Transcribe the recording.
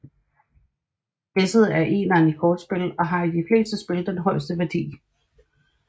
Esset er eneren i kortspil og har i de fleste spil den højeste værdi